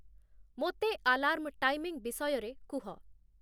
ମୋତେ alarm timing ବିଷୟରେ କୁହ